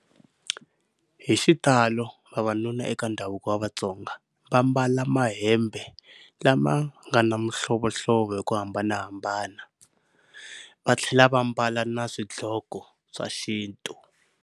Hi xitalo vavanuna eka ndhavuko wa Vatsonga va mbala mahembe lama nga na mihlovohlovo hi ku hambanahambana va tlhela va mbala na swidloko swa xintu.